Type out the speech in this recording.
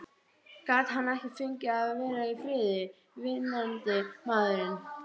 Gat hann ekki fengið að vera í friði, vinnandi maðurinn?